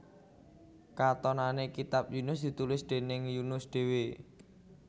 Katonané kitab Yunus ditulis déning Yunus dhéwé